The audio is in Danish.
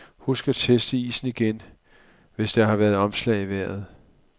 Husk at teste isen igen, hvis der har været omslag i vejret.